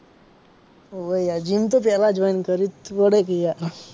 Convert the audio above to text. હોવે યાર gym તો પેલા join કર્યું